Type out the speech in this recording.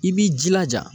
I b'i jilaja